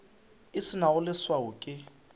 e se nago leswao ke